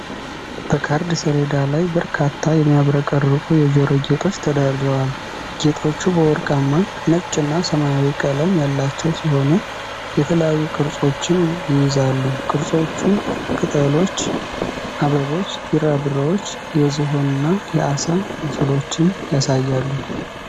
በካርድ ሰሌዳ ላይ በርካታ የሚያብረቀርቁ የጆሮ ጌጦች ተደርድረዋል። ጌጦቹ በወርቃማ፣ ነጭና ሰማያዊ ቀለም ያላቸው ሲሆኑ፣ የተለያዩ ቅርጾችን ይይዛሉ። ቅርጾቹ ቅጠሎች፣ አበቦች፣ ቢራቢሮዎች፣ የዝሆንና የዓሣ ምስሎችን ያሳያሉ።